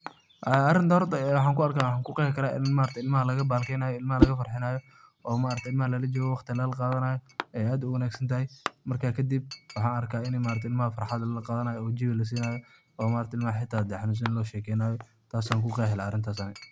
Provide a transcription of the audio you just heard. Arintan horta waxan ku arkaa waxna kuqeexi karaa in mar aragte ilmahaa laga bahalkiyeynayo laga farxinaayo oo ma aragte ilmaha lala joogayo oo waqti lala qadanayo ay aad uwanaagsantahy, marka kadib waxan arka In ilmaha farxad lala qadanayo oo jewi lasinayo oo ma aragta ilmaha haday xanunsan yihin hata loo sheekeynayo taas an kuqeexi laha arintas ani